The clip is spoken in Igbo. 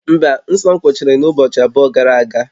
Mba, nsọ m kwụsịrị n'ụbọchị abụọ gara aga